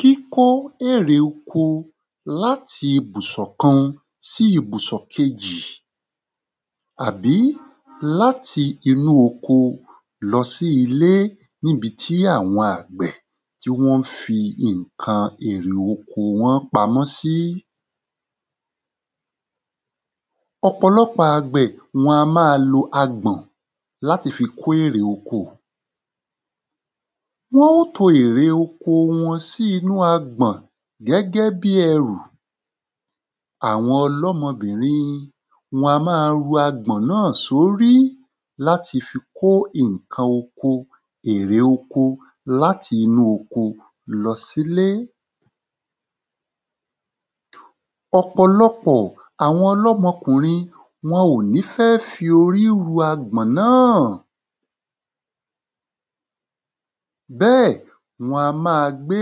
Kíkó èrè oko láti ibùsùn kan sí ibùsùn kejì àbí láti inú oko lọ sí ilé níbi tí àwọn àgbẹ̀ tí wọ́n fi àwọn ìnkan èrè oko wọ́n pamọ́ sí ọ̀pọ̀lọpọ̀ àgbè wọn a má a lo agbọ̀n láti fi kó èrè oko láti fi kó èrè oko sí inú agbọ̀n gẹ́gẹ́ bí ẹrù àwọn ọlọ́mọbìnrin wọn á ma to ẹrù náà sórí láti fi kó ìnkan oko èrè oko láti inú oko lọ sílé ọ̀pọ̀lọpọ̀ àwọn ọlọ́mọkùnrin wọn ò ní fẹ́ fi orí ru erù náà bẹ́ẹ̀ wọn a má a gbé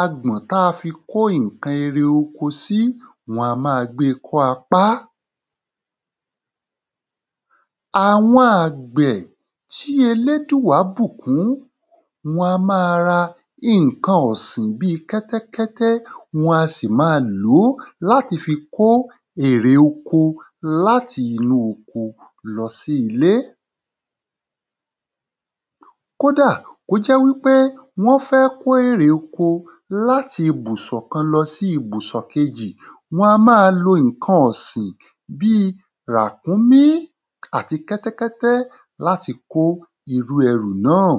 agbọ̀n ta fi kó ìnkan ere oko sí wọn a má a gbe kọ́ apá àwọn àgbẹ̀ tí elédùá bùkún wọn a má a ra ìnkan ọ̀sìn bíi kẹ́tẹ́kẹ́tẹ́ wọn a sì ma lòó láti fi kó ère oko láti inú oko lọ sí ilé kódà kó jẹ́ wí pé wọ́n fẹ́ kó èrè oko láti ibùsùn kan lọ sí ibùsùn kejì wọn a má a ìnkan ọ̀sìn bíi ràkúmí àti kẹ́tẹ́kẹ́tẹ́ lati kó irú ẹrù náà